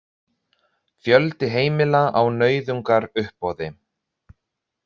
Fjöldi heimila á nauðungaruppboði